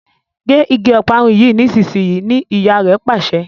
gé ìgi Ọparun yí nísìsiyìí! ní ìyá rẹ Pàṣẹ.